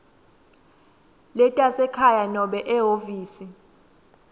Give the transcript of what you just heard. letasekhaya nobe ehhovisi